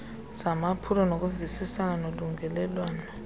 zamaphulo nokuvisisana nolungelelwano